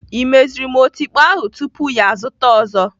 Ị meziri m otikpo ahụ tupu ya azụta ọzọ?